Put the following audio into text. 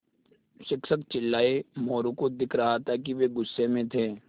शिक्षक चिल्लाये मोरू को दिख रहा था कि वे गुस्से में थे